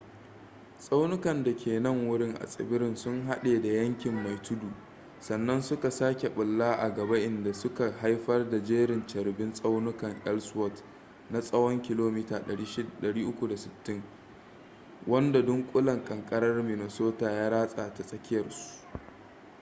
tsaunukan da ke nan wurin a tsibirin sun haɗe da yankin mai tudu sannan suka sake bulla a gaba inda suka haifar da jerin carbin tsaunukan elsworth na tsawon kilomita 360 wanda dunkulen ƙanƙarar minnesota ya ratsa ta tsakiyarsu